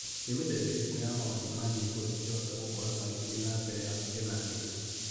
Nĩ mĩthemba ĩrĩkũ ya maũndũ ma nyĩmbo ingĩhota gũkora magĩthiĩ na mbere hakuhĩ na niĩ?